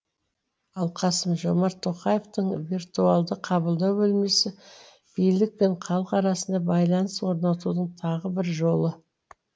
ал қасым жомарт тоқаевтың виртуалды қабылдау бөлмесі билік пен халық арасында байланыс орнатудың тағы бір жолы